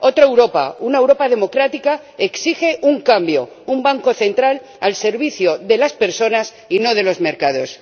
Otra Europa una Europa democrática, exige un cambio, un Banco Central al servicio de las personas y no de los mercados.